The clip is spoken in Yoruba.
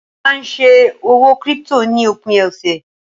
mo ma n se òwò crypto ni opin ọsẹ